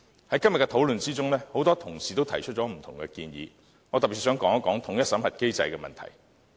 在今天的討論中，很多同事提出了不同的建議，我特別想說一說統一審核機制的問題。